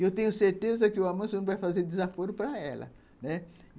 E eu tenho certeza que o almoço não vai fazer desaforo para ela, né